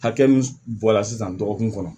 Hakɛ min bɔ la sisan dɔgɔkun kɔnɔ